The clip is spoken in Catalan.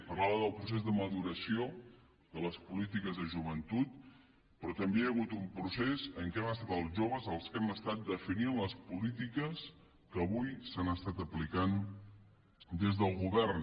parlava del procés de maduració de les polítiques de joventut però també hi ha hagut un procés en què hem estat els joves els que hem estat definint les polítiques que avui s’han estat aplicant des del govern